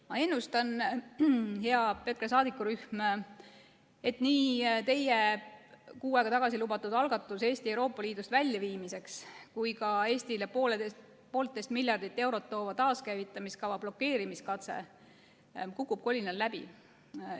Ma ennustan, hea EKRE saadikurühm, et nii teie kuu aega tagasi lubatud algatus Eesti Euroopa Liidust väljaviimiseks kui ka Eestile 1,5 miljardit eurot toova taaskäivitamiskava blokeerimiskatse kukub kolinal läbi.